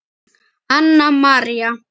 Anna María.